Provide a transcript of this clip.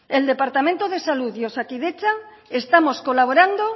el departamento de salud y osakidetza estamos colaborando